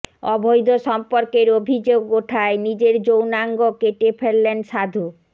অবৈধ সম্পর্কের অভিযোগ ওঠায় নিজের যৌনাঙ্গ কেটে ফেললেন সাধু